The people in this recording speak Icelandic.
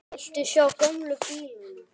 Viltu sjá gömlu bílana?